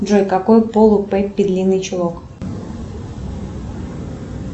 джой какой пол у пеппи длинный чулок